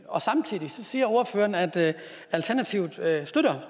og samtidig siger ordføreren at alternativet